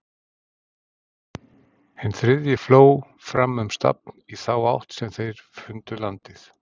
Hinn þriðji fló fram um stafn í þá átt sem þeir fundið landið.